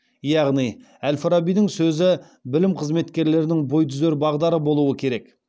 яғни әл фарабидің сөзі білім қызметкерлерінің бой түзер бағдары болуы керек